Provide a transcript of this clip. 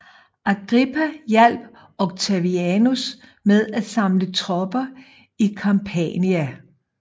Agrippa hjalp Octavianus med at samle tropper i Campania